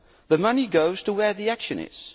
The money goes to where the action is.